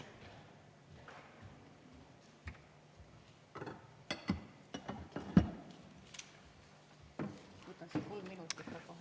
Võtaks kolm minutit ka kohe.